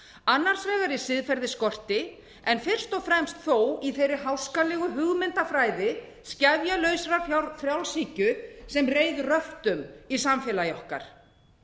annars vegar í siðferðisskorti en fyrst og fremst þó í þeirri háskalegu hugmyndafræði skefjalausrar frjálshyggju sem reið röftum í samfélagi okkar